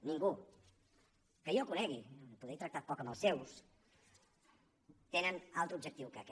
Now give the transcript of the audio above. ningú que jo conegui poder he tractat poc amb els seus té altre objectiu que aquest